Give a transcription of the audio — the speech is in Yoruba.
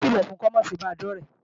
Ókìlọ̀ fun kó máa ṣe bàa dọ̀ré!